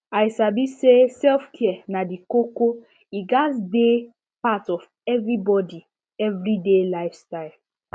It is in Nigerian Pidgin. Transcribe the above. i sabi say selfcare na di koko e gatz dey part of everybody every day life style